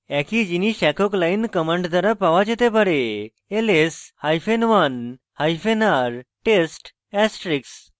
একই জিনিস একক line command দ্বারা পাওয়া যেতে পারে ls hyphen 1 hyphen r test asterisk